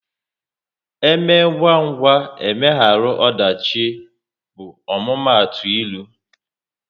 " Eme ngwa ngwa, emegharu ọdachi" bụ omumatu ịlụ